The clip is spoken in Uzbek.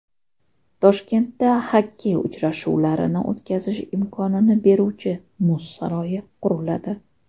Toshkentda xokkey uchrashuvlarini o‘tkazish imkonini beruvchi muz saroyi quriladi.